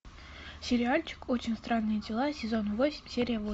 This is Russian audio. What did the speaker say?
сериальчик очень странные дела сезон восемь серия восемь